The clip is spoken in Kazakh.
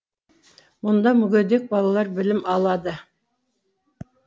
мұнда мүгедек балалар білім алады